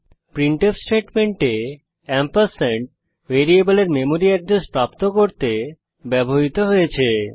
printf স্টেটমেন্টে ampersand ভ্যারিয়েবলের memory address প্রাপ্ত করতে ব্যবহৃত হয়েছে